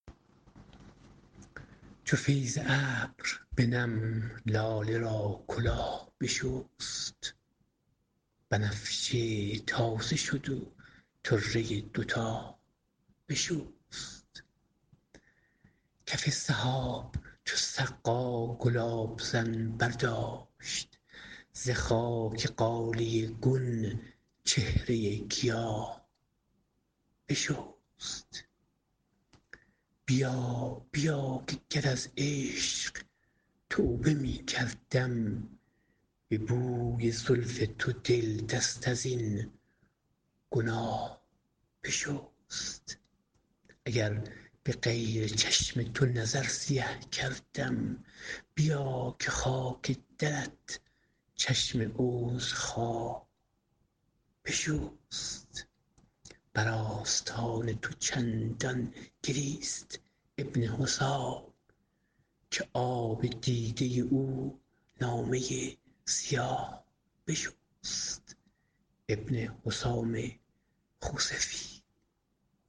چو فیض ابر به نم لاله را کلاه بشست بنفشه تازه شد و طره دوتاه بشست کف سحاب چو سقا گلاب زن برداشت ز خاک غالیه گون چهره گیاه بشست بیا بیا که گر از عشق توبه می کردم به بوی زلف تو دل دست ازین گناه بشست اگر به غیر تو چشم نظر سیه کردم بیا که خاک درت چشم عذرخواه بشست بر آستان تو چندان گریست ابن حسام که آب دیده او نامه سیاه بشست